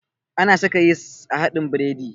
Ana saka yis a haɗin biredi